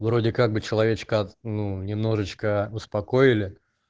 вроде как бы человечка ну немножечко успокоили